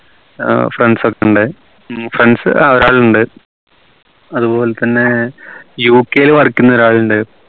ഏർ friends ഒക്കെ ഉണ്ട് ഉം friends ആഹ് ഒരാളുണ്ട് അതുപോലെതന്നെ UK ൽ ഒരാളുണ്ട്